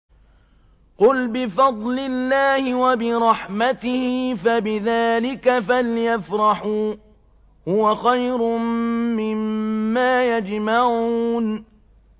قُلْ بِفَضْلِ اللَّهِ وَبِرَحْمَتِهِ فَبِذَٰلِكَ فَلْيَفْرَحُوا هُوَ خَيْرٌ مِّمَّا يَجْمَعُونَ